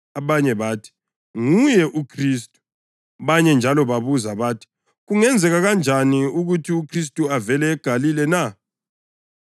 Abanye bathi, “Nguye uKhristu.” Abanye njalo babuza bathi, “Kungenzeka kanjani ukuthi uKhristu avele eGalile na?